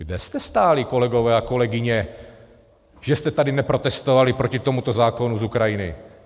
Kde jste stáli, kolegové a kolegyně, že jste tady neprotestovali proti tomuto zákonu z Ukrajiny?